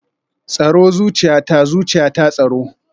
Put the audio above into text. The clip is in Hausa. Tsaro zuciyata, zuciyata tsaro